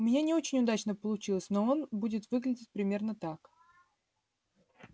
у меня не очень удачно получилось но он будет выглядеть примерно так